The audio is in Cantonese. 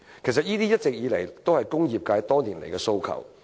其實，這是工業界多年來一直提出的訴求。